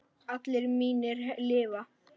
Allir mínir lifa.